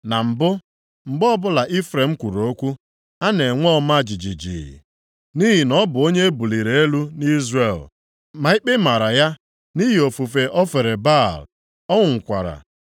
Na mbụ, mgbe ọbụla Ifrem kwuru okwu, a na-enwe ọma jijiji, nʼihi na ọ bụ onye e buliri elu nʼIzrel. Ma ikpe maara ya nʼihi ofufe o fere Baal, ọ nwụkwara.